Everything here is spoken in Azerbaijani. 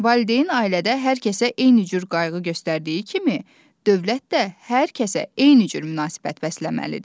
Valideyn ailədə hər kəsə eyni cür qayğı göstərdiyi kimi, dövlət də hər kəsə eyni cür münasibət bəsləməlidir.